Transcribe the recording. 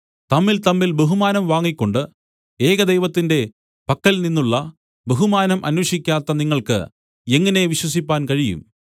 തമ്മിൽതമ്മിൽ ബഹുമാനം വാങ്ങിക്കൊണ്ട് ഏകദൈവത്തിന്റെ പക്കൽ നിന്നുള്ള ബഹുമാനം അന്വേഷിക്കാത്ത നിങ്ങൾക്ക് എങ്ങനെ വിശ്വസിപ്പാൻ കഴിയും